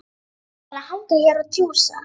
Ætlarðu bara að hanga hér og djúsa?